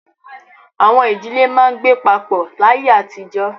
Àwọn ìdílé máa ń gbé papọ̀ láyé àtijọ́.